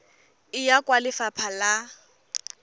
e ya kwa lefapha la